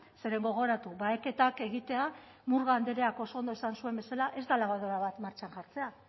zeren gogoratu baheketak egitea murga andreak oso ondo esan zuen bezala ez da labadora bat martxan jartzea